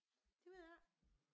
Det ved jeg ikke